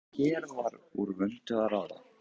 En hér var úr vöndu að ráða.